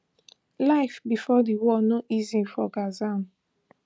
life bifor di war no easy for gaza